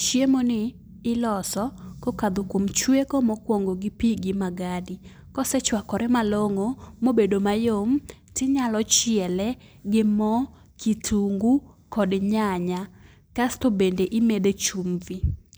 Chiemo ni iloso ko okalo kuom chueko mokuongo gi pi gi magadi. Kosechuakore malong'o ma obedo mayom ti inya chiele gi moo, kitungu kod nyanya kasto imede e chumvi